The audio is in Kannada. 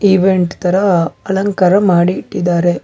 ಇವೆಂಟ್ ತರ ಅಲಂಕಾರ ಮಾಡಿ ಇಟ್ಟಿದ್ದಾರೆ.